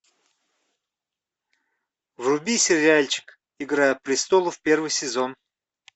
вруби сериальчик игра престолов первый сезон